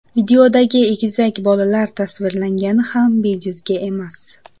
Videoda egizak bolalar tasvirlangani ham bejizga emas.